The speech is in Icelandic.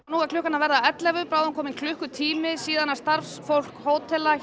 nú er klukkan að verða ellefu bráðum kominn klukkutími síðan starfsfólk hótela